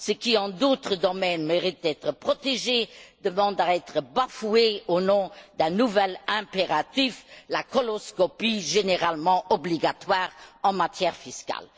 Ce qui, dans d'autres domaines, mérite d'être protégé, demande à être bafoué au nom d'un nouvel impératif la coloscopie généralement obligatoire en matière fiscale.